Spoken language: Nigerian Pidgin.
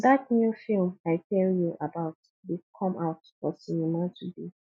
dat new film i tell you about dey come out for cinema today